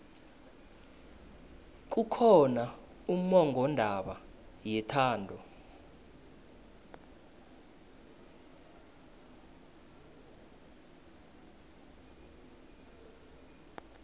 kukhona ummongondaba yethando